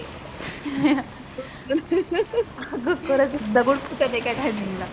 अगं खरच दगड फुटणं एका टाईमिंगला